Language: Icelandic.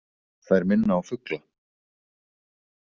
Þær minna á fugla.